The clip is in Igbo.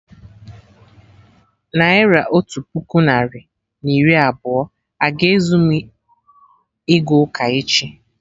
Naira otu puku narị na iri abụọ a-ga ezu mụ ịga ụka echi?